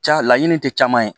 Ca laɲini te caman ye